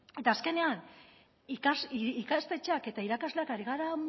eta azkenean ikastetxeak eta irakasleak ari gara